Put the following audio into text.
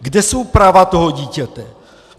Kde jsou práva toho dítěte?